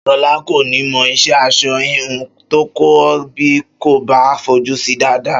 Ṣọlá kò ní mọ ìṣe aṣọ híhun tó ń kọ́ bí kò bá fojú si dáadáa